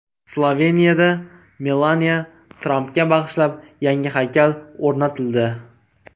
Sloveniyada Melaniya Trampga bag‘ishlab yangi haykal o‘rnatildi.